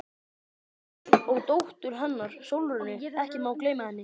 TRYGGVI: Og dóttur hennar, Sólrúnu, ekki má gleyma henni.